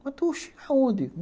Mas, oxe... aonde?